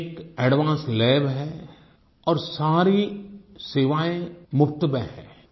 अनेक advance labs हैं और सारी सेवाएँ मुफ़्त में हैं